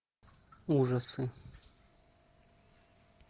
ужасы